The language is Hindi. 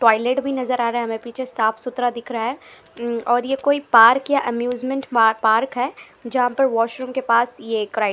टॉयलेट भी नजर आ रहा हमे पीछे साफ सुथरा दिख रहा है और यह कोई पार्क या एम्यूजमेंट पा पार्क है जहां पर वॉशरूम के पास ये क्रा--